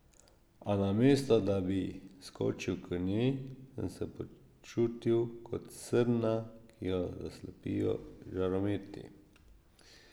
A namesto da bi skočil k njej, sem se počutil kot srna, ki jo zaslepijo žarometi.